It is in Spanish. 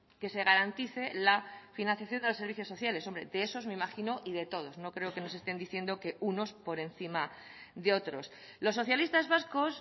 que se garantice la financiación de los servicios sociales hombre de esos me imagino y de todos no creo que nos estén diciendo que unos por encima de otros los socialistas vascos